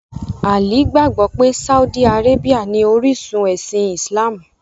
Ali gbagbọ̀ pẹ̀ Sáúdì Àrábíà ní orisun ẹ̀sìn Islamú.